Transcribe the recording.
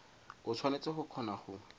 o tshwanetse go kgona go